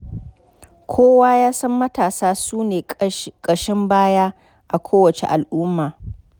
Kowa ya san matasa su ne ƙashin baya a kowace al'umma.